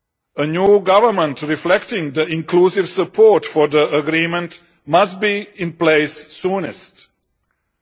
A new government reflecting the inclusive support for the agreement must be in place as soon as possible.